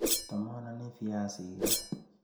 Atamanani viazik ra.